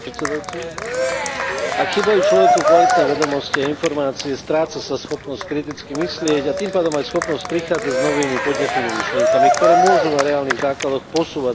Ak chýbajú človeku kvalitné vedomosti a informácie, stráca sa schopnosť kritický myslieť, a tým pádom aj schopnosť prichádzať s novými podnetnými myšlienkami, ktoré môžu na reálnych základoch posúvať našu spoločnosť vpred.